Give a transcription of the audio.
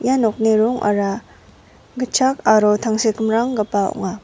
ia nokni rongara gitchak aro tangsekmranggipa ong·a.